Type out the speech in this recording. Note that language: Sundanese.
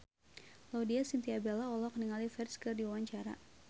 Laudya Chintya Bella olohok ningali Ferdge keur diwawancara